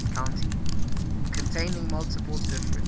containing multiple different